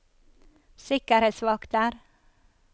sikkerhetsvakter